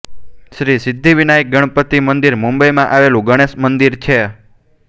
શ્રી સિદ્ધિવિનાયક ગણપતિ મંદિર મુંબઈમાં આવેલું ગણેશ મંદિર છે